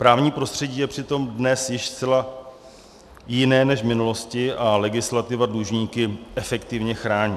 Právní prostředí je přitom dnes již zcela jiné než v minulosti a legislativa dlužníky efektivně chrání.